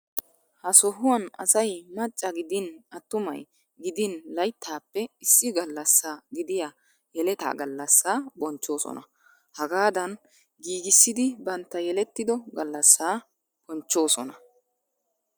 Ha sohuwan asay macca gidin attumay gidin layittaappe issi gallasa gidiya yeleta gallassaa bonchchoosona. Hagaadan giigissiidi bantta yelettido gallassaa bonchchoosona.